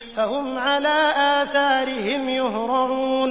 فَهُمْ عَلَىٰ آثَارِهِمْ يُهْرَعُونَ